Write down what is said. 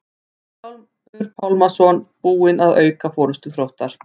Vilhjálmur Pálmason búinn að auka forystu Þróttar.